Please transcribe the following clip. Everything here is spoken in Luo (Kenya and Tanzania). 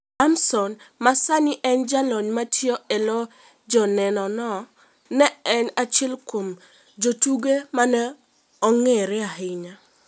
Harmason ma sani en jal matiyo e lo Jonenono, ne en achiel kuom jotugo ma ne ong'ere ahinya.